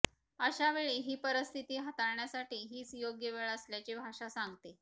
अशावेळी ही परिस्थिती हाताळण्यासाठी हीच योग्य वेळ असल्याचे भाषा सांगते